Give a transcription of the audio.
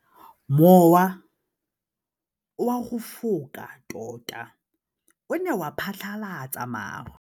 Mowa o wa go foka tota o ne wa phatlalatsa maru.